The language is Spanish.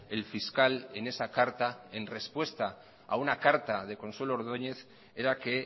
el fiscal en esa carta en respuesta a una carta de consuelo ordóñez era que